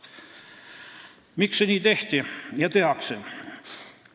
Miks nii tehti ja tehakse?